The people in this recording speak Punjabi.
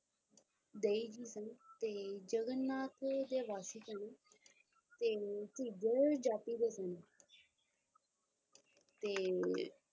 ਜੀ ਸਨ ਤੇ ਜਗਨਨਾਥ ਦੇ ਵਾਸੀ ਸਨ ਤੇ ਝਿੱਜਰ ਜਾਤੀ ਦੇ ਸਨ, ਤੇ,